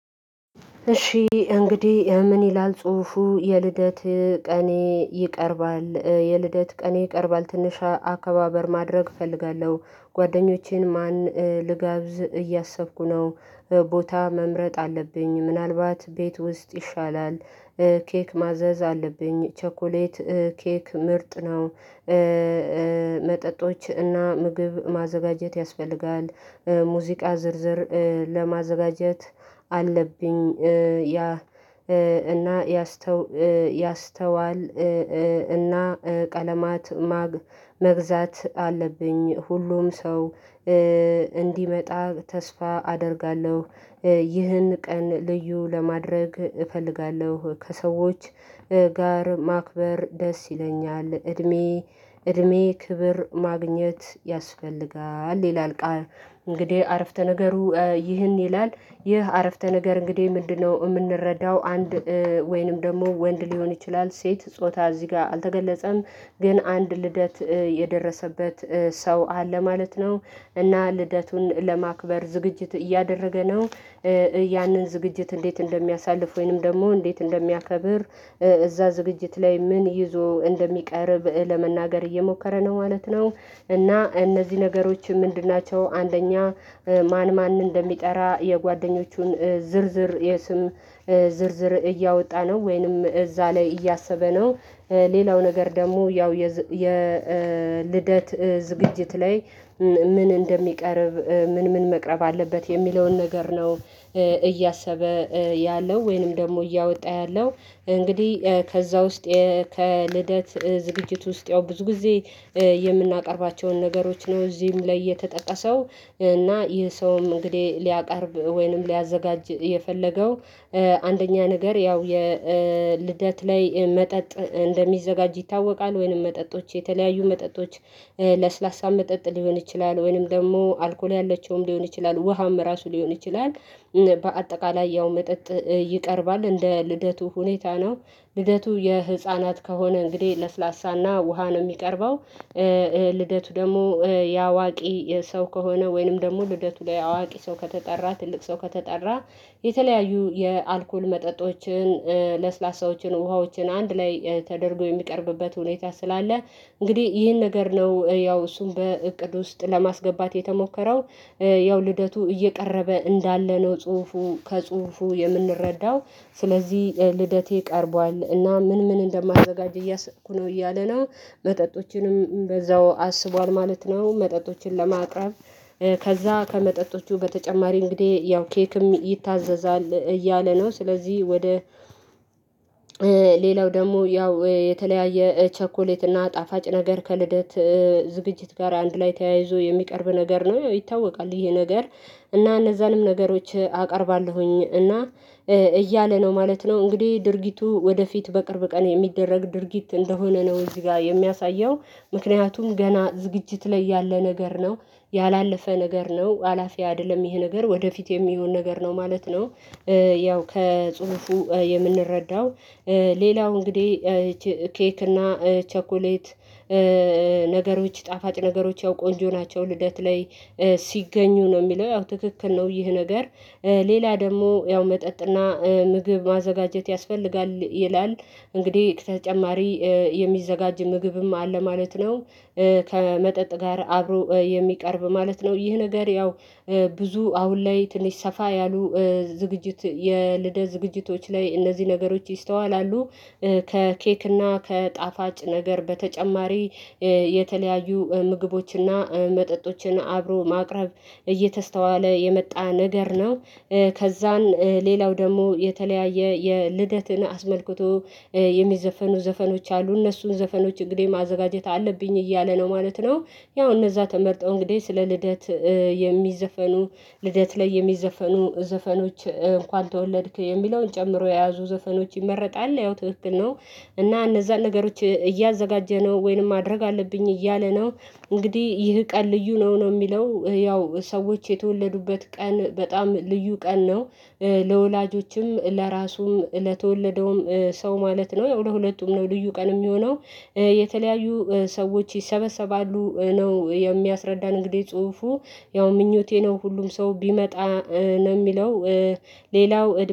እሺ እንግዲህ ምን ይላል ጽሁፉ የልደት ቀኔ ይቀርባል። የልደት ቀኔ ይቀርባል ትንሽ አከባበር ማድረግ እፈልጋለሁ። ጓደኞቼን ማን ልጋብዝ እያሰብኩ ነው። ቦታ መምረጥ አለብኝ ምናልባት ቤት ውስጥ ይሻላል። ኬክ ማዘዝ አለብኝ ቸኮሌት ኬክ ምርጥ ነው። መጠጦች እና ምግብ ማዘጋጀት ያስፈልጋል። ሙዚቃ ዝርዝር ለማዘጋጀት አለብኝ። ያ እና ያስተዋል እና ቀለማት መግዛት አለብኝ ሁሉም ሰው እንዲመጣ ተስፋ አደርጋለሁ። ይህን ቀን ልዩ ለማድረግ እፈልጋለሁ ከሰዎች ጋር ማክበር ደስ ይለኛል። እድሜ እድሜ ክብር ማግኘት ያስፈልጋል ይላል። እንግዲህ አረፍተ ነገሩ ይህን ይላል። ይህ አረፍተ ነገር እንግዲህ ምንድነው? እምንረዳው አንድ ወይንም ደግሞ ወንድ ሊሆን ይችላል ሴት ጾታ እዚህ ጋር አልተገለጸም። ግን አንድ ልደት የደረሰበት ሰው አለ ማለት ነው። እና ልደቱን ለማክበር ዝግጅት እያደረገ ነው። ያንን ዝግጅት እንዴት እንደሚያሳልፍ ወይንም ደግሞ እንዴት እንደሚያከብር? እዛ ዝግጅት ላይ ምን ይዞ እንደሚቀርብ ለመናገር እየሞከረ ነው ማለት ነው። እና እነዚህ ነገሮች ምንድን ናቸው? አንደኛ ማን ማን እንደሚጠራ የጓደኞቹን ዝርዝር የስም ዝርዝር እያወጣ ነው ወይንም እዛ ላይ እያሰበ ነው። ሌላው ነገር ደሞ ያው የልደት ዝግጅት ላይ። ምን እንደሚቀርብ ምን ምን መቅረብ አለበት የሚለውን ነገር ነው እያሰበ ያለው ወይንም ደሞ እያወጣ ያለው። እንግዲህ ከዛ ውስጥ ከልደት ዝግጅት ውስጥ ያው ብዙ ጊዜ የምናቀርባቸውን ነገሮች ነው እዚህም ላይ የተጠቀሰው። እና ይህ ሰውም እንግዲህ ሊያቀርብ ወይንም ሊያዘጋጅ የፈለገው። አንደኛ ነገር ያው የልደት ላይ መጠጥ እንደሚዘጋጅ ይታወቃል ወይንም መጠጦች የተለያዩ መጠጦች ለስላሳ መጠጥ ሊሆን ይችላል ወይንም ደግሞ አልኮል ያላቸውም ሊሆን ይችላል ውሃም ራሱ ሊሆን ይችላል። በአጠቃላይ ያው መጠጥ ይቀርባል እንደ ልደቱ ሁኔታ ነው። ልደቱ የህፃናት ከሆነ እንግዲህ ለስላሳና ውሃ ነው እሚቀርበው። ልደቱ ደግሞ ያዋቂ ሰው ከሆነ ወይንም ደግሞ ልደቱ ላይ አዋቂ ሰው ከተጠራ ትልቅ ሰው ከተጠራ። የተለያዩ የአልኮል መጠጦችን ለስላሳዎችን ውሃዎችን አንድ ላይ ተደርጎ የሚቀርብበት ሁኔታ ስላለ። እንግዲህ ይህን ነገር ነው ያው እሱን በእቅድ ውስጥ ለማስገባት የተሞከረው። ያው ልደቱ እየቀረበ እንዳለ ነው ጽሁፉ ከጽሁፉ የምንረዳው። ስለዚህ ልደቴ ቀርቧል እና ምን ምን እንደማደጋጅ እያሰብኩ ነው እያለ ነው። መጠጦችንም በዛው አስቧል ማለት ነው መጠጦችን ለማቅረብ። ከዛ ከመጠጦቹ በተጨማሪ እንግዲህ ያው ኬክም ይታዘዛል እያለ ነው ስለዚህ ወደ ሌላው ደግሞ ያው የተለያየ ቸኮሌት እና ጣፋጭ ነገር ከልደት ዝግጅት ጋር አንድ ላይ ተያይዞ የሚቀርብ ነገር ነው ይታወቃል። ይሄ ነገር እና እነዛንም ነገሮች አቀርባለሁኝ እና እያለ ነው ማለት ነው። እንግዲህ ድርጊቱ ወደፊት በቅርብ ቀን የሚደረግ ድርጊት እንደሆነ ነው እዚህ ጋ የሚያሳየው። ምክንያቱም ገና ዝግጅት ላይ ያለ ነገር ነው። ያላለፈ ነገር ነው አላፊ አይደለም ይሄ ነገር ወደፊት የሚሆን ነገር ነው ማለት ነው። ያው ከጽሁፉ የምንረዳው ሌላው እንግዲህ ኬክ እና ቸኩሌት ነገሮች ጣፋጭ ነገሮች ያው ቆንጆ ናቸው። ልደት ላይ ሲገኙ ነው እሚለው ያው ትክክል ነው ይህ ነገር። ሌላ ደግሞ ያው መጠጥና ምግብ ማዘጋጀት ያስፈልጋል ይላል። እንግዲህ ተጨማሪ የሚዘጋጅ ምግብም አለ ማለት ነው። ከመጠጥ ጋር አብሮ የሚቀርብ ማለት ነው ይህ ነገር ያው ብዙ አሁን ላይ ትንሽ ሰፋ ያሉ ዝግጅት የልደ ዝግጅቶች ላይ እነዚህ ነገሮች ይስተዋላሉ። ከኬክ እና ከጣፋጭ ነገር በተጨማሪ የተለያዩ ምግቦችና መጠጦችን አብሮ ማቅረብ እየተስተዋለ የመጣ ነገር ነው። ከዛን ሌላው ደሞ የተለያየ የልደትን አስመልክቶ የሚዘፈኑ ዘፈኖች አሉ እነሱን ዘፈኖች እንግዲህ ማዘጋጀት አለብኝ እያለ ነው ማለት ነው። ያው እነዛ ተመርጠው እንግዲህ ስለ ልደት የሚዘፈኑ ልደት ላይ የሚዘፈኑ ዘፈኖች እንኳን ተወለድክ የሚለውን ጨምሮ የያዙ ዘፈኖች ይመረጣል ያው ትክክል ነው። እና እነዛን ነገሮች እያዘጋጀ ነው ወይንም ማድረግ አለብኝ እያለ ነው። እንግዲህ ይህ ቀን ልዩ ነው ነው እሚለው ያው ሰዎች የተወለዱበት ቀን በጣም ልዩ ቀን ነው። ለወላጆችም ለራሱም ለተወለደውም ሰው ማለት ነው ያው ለሁለቱም ነው ልዩ ቀን እሚሆነው የተለያዩ ሰዎች ይሰበሰባሉ ነው የሚያስረዳን እንግዲህ ጽሁፉ። ያው ምኞቴ ነው ሁሉም ሰው ቢመጣ ነው እሚለው። ሌላው